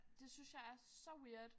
Det synes jeg er så weird